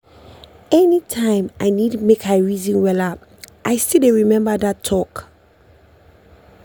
anytime i need make i reason wella i still dey remember that talk.